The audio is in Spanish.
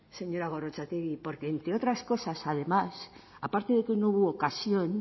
señora gorrotxategi porque entre otras cosas además aparte de que no hubo ocasión